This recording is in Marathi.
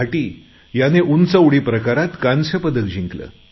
भाटी याने उंच उडी प्रकारात कांस्य पदक जिंकले